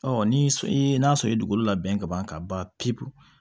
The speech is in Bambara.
ni n'a sɔrɔ i ye dugukolo labɛn ka ban ka ban pewu